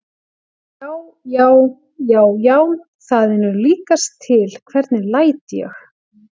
JÁ, JÁ, JÁ, JÁ, ÞAÐ ER NÚ LÍKAST TIL, HVERNIG LÆT ÉG!